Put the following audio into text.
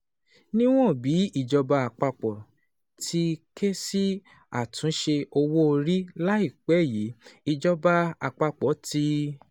Níwọ̀n bí ìjọba àpapọ̀ ti ké sí àtúnṣe owó orí láìpẹ́ yìí, ìjọba àpapọ̀ ti